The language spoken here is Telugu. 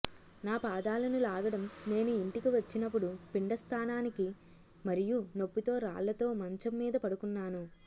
నా పాదాలను లాగడం నేను ఇంటికి వచ్చినప్పుడు పిండ స్థానానికి మరియు నొప్పితో రాళ్ళతో మంచం మీద పడుకున్నాను